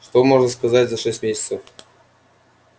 что можно сказать за шесть месяцев